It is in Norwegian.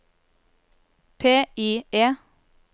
PIE